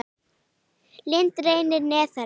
Lind í leyni niðar.